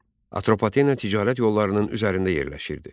Atropatena ticarət yollarının üzərində yerləşirdi.